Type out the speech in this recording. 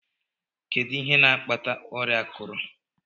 Kedụ ihe n'akpata ọrịa akurụ?